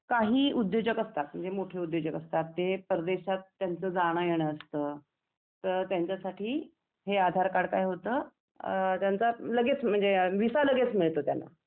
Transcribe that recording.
आणि काही उद्योजक असतात म्हणजे मोठे उद्योजक असतात ते परदेशात त्यांचा जाणं येणं असतं, तर त्यांच्यासाठी हे आधार कार्ड काय होतं, त्यांचा लगेच म्हणजे व्हिसा लगेच मिळतो त्यांना .